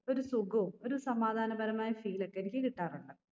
ഒരു സുഖവും ഒരു സമാധാന പരമായ feel ഒക്കെ എനിക്ക് കിട്ടാറുണ്ട്